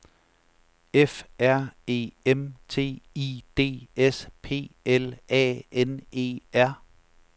F R E M T I D S P L A N E R